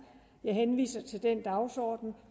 jeg henviser til den dagsorden